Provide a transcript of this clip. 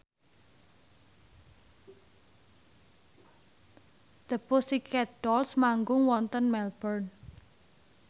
The Pussycat Dolls manggung wonten Melbourne